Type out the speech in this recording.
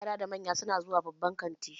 Yara da manya su na zuwa babban kanti